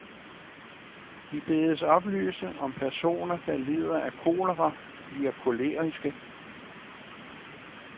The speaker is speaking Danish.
De bedes oplyse, om personer, der lider af kolera, bliver koleriske.